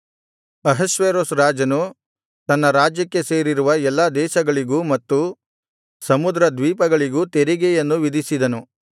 ಅಹಷ್ವೇರೋಷ್ ರಾಜನು ತನ್ನ ರಾಜ್ಯಕ್ಕೆ ಸೇರಿರುವ ಎಲ್ಲಾ ದೇಶಗಳಿಗೂ ಮತ್ತು ಸಮುದ್ರದ್ವೀಪಗಳಿಗೂ ತೆರಿಗೆಯನ್ನು ವಿಧಿಸಿದನು